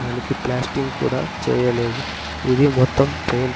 దానికి ప్లాస్టింగ్ కూడా చేయలేదు ఇది మొత్తం పెయిన్ --